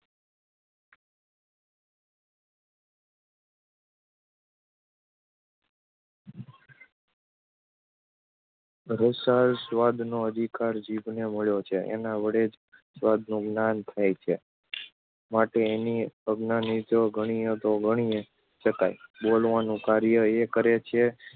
રસાસ્વાદનો અધિકાર જીભને મળ્યો છે, એના વડે જ સ્વાદનું જ્ઞાન થાય છે માટે એને અજ્ઞાનેન્દ્રિય ગણીએ તો ગણી શકાય. બોલવાનું કાર્ય એ કરે છે